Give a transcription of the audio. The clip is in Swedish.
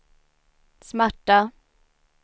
smärta